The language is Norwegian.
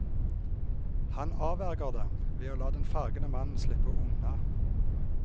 Han avverger dem, ved å la den fargede mannen slippe unna.